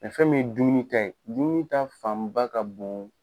fɛn min ye dumuni ta ye, dumuni ta fan ba ka bon